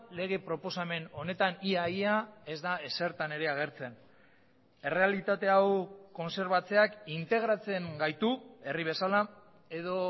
lege proposamen honetan ia ia ez da ezertan ere agertzen errealitate hau kontserbatzeak integratzen gaitu herri bezala edo